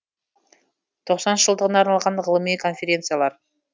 тоқсаныншы жылдығына арналған ғылыми конференциялар